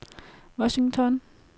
Washington